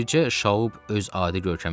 Bircə Şaub öz adi görkəmində idi.